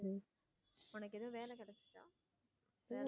உனக்கு எதுவும் வேலை கிடைச்சுச்சா?